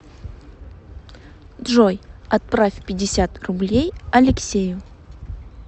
джой отправь пятьдесят рублей алексею